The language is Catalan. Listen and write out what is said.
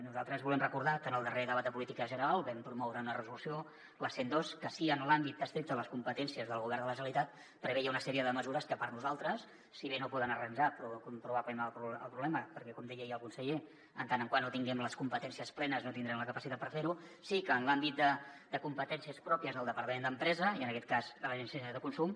nosaltres volem recordar que en el darrer debat de política general vam promoure una resolució la cent i dos que sí que en l’àmbit estricte de les competències del govern de la generalitat preveia una sèrie de mesures que per nosaltres si bé no poden arranjar probablement el problema perquè com deia ahir el conseller men·tre no tinguem les competències plenes no tindrem la capacitat per fer·ho sí que en l’àmbit de competències pròpies del departament d’empresa i en aquest cas de l’agència catalana de consum